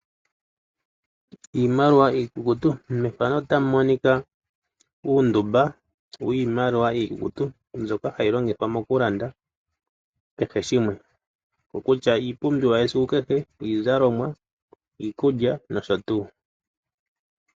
Iimaliwa iikukutu mbyoka hayi longithwa moku landa kehe shimwe oko kutya iipumbiwa yesikukehe iikulya, iizalomwa nosho tuu.